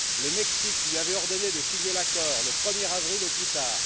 Le Mexique lui avait ordonné de signer l'accord le 1er avril au plus tard.